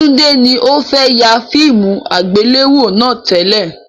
Tunde ni o fẹ yà fíìmù àgbéléwò náà tẹ́lẹ̀